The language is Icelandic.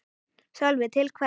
Sölvi: Til hvers?